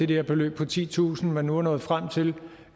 der beløb på titusind kr man nu er nået frem til